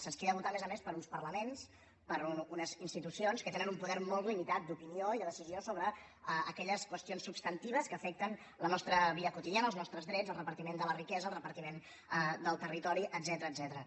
se’ns crida a votar a més a més per uns parlaments per unes institucions que tenen un poder molt limitat d’opinió i de decisió sobre aquelles qüestions substantives que afecten la nostra vida quotidiana els nostres drets el repartiment de la riquesa el repartiment del territori etcètera